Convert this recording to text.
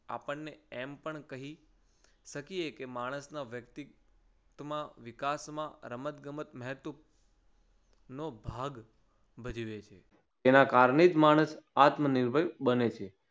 આપણને એમ પણ કહી શકીએ કે માણસમાં વ્યક્તિ ત માં વિકાસમાં રમત ગમત મહત્વ નો ભાગ ભજવે છે. તેના કારણે જ માણસ આત્મનિર્ભ બને છે.